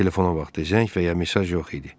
Telefonda zəng və ya mesaj yox idi.